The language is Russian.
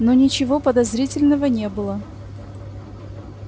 но ничего подозрительного не было